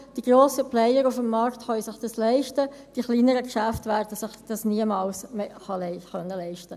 Die grossen Player auf dem Markt könnten sich dies leisten, die kleineren Geschäfte würden sich dies niemals leisten können.